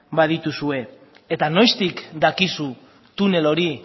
badituzue eta noiztik dakizu tunel hori